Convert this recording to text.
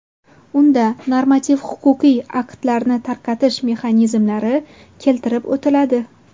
Unda normativ-huquqiy aktlarni tarqatish mexanizmlari keltirib o‘tiladi.